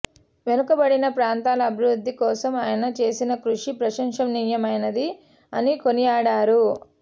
వెనుకబడిన ప్రాంతాల అభివృద్ధి కోసం ఆయన చేసిన కృషి ప్రశంసనీయమైనది అని కొనియాడారు